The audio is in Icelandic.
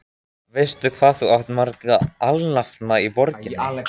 Veistu, hvað þú átt marga alnafna í borginni?